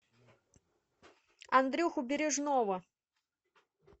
андрюху бережного